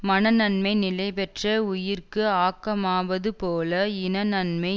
மனநன்மை நிலைபெற்ற உயிர்க்கு ஆக்கமாவதுபோல இன நன்மை